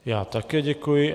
Já také děkuji.